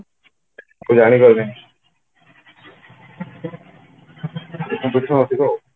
ଏବେ ଜାଣିଗଲେ ତ competition ଅଧିକ